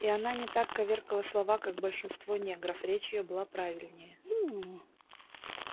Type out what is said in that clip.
и она не так коверкала слова как большинство негров речь её была правильнее